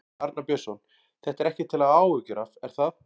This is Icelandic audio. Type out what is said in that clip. Arnar Björnsson: Þetta er ekkert til að hafa áhyggjur af, er það?